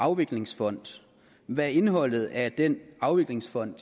afviklingsfond hvad er indholdet af den afviklingsfond